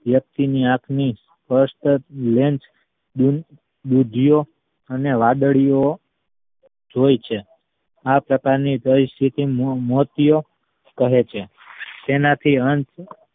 વ્યકતિની આંખ ની સ્પષ્ટ lens ની દુધીયો અને વાદળિયો જોઈ છે આ પ્રકારની પરિસ્થિતિ મોં ~મોતિયો કહે છે તેનાથી અંત